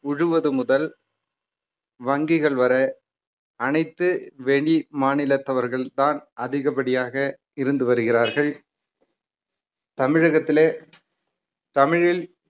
உழுவது முதல் வங்கிகள் வரை அனைத்து வெளி மாநிலத்தவர்கள்தான் அதிகபடியாக இருந்து வருகிறார்கள் தமிழகத்திலே தமிழில்